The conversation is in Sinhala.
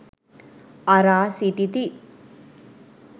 අරා සිටිති.